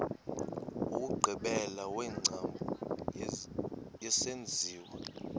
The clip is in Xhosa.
wokugqibela wengcambu yesenziwa